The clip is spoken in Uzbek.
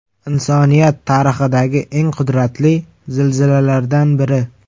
Insoniyat tarixidagi eng qudratli zilzilalardan biri.